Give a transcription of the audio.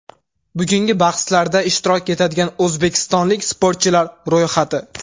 Bugungi bahslarda ishtirok etadigan o‘zbekistonlik sportchilar ro‘yxati.